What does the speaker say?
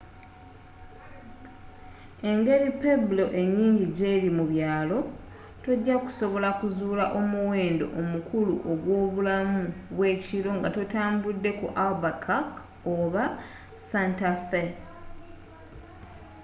engeri pueblo enyingi gyezirimu byalo tojakusobola kuzuula omuwendo omukulu ogw'obulamu bw'ekiro nga totambudde ku albuquerque oba santa fe